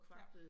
Ja